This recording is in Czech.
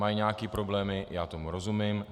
Mají nějaké problémy, já tomu rozumím.